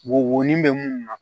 Wo ni bɛ mun na